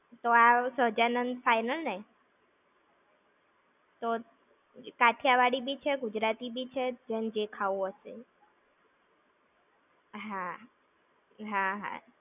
તો આ સહજાનંદ final ને. કાઠિયાવાડી બી છે, ગુજરાતી બી છે, જેન જે ખાવું હશે એ. હા. હા હા.